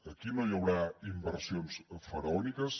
aquí no hi haurà inversions faraòniques